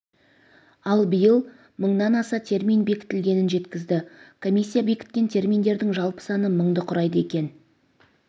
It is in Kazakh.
ал биыл мыңнан аса термин бекітілгенін жеткізді комиссия бекіткен терминдердің жалпы саны мыңды құрайды екен